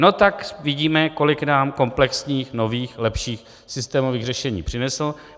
No tak vidíme, kolik nám komplexních, nových, lepších, systémových řešení přinesl.